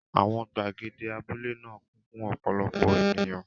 Àwọn gbàgede abúlé náà kún fún ọ̀pọ̀lọpọ̀ ènìyàn.